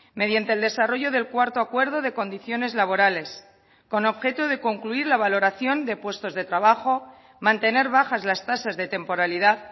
mediante el desarrollo del cuarto acuerdo de condiciones laborales con objeto de concluir la valoración de puestos de trabajo mantener bajas las tasas de temporalidad